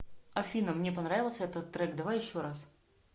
афина мне понравился этот трек давай еще раз